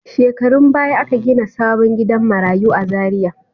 Shekarun baya aka gina sabon gidan marayu a Zariya.